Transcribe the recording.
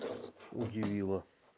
удивила